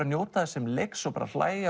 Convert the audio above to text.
njóta þess sem leiks og hlæja